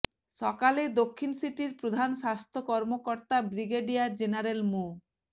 সকালে দক্ষিণ সিটির প্রধান স্বাস্থ্য কর্মকর্তা ব্রিগেডিয়ার জেনারেল মো